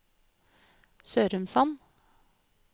Sørumsand